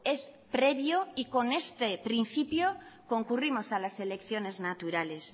es previo y con este principio concurrimos a las elecciones naturales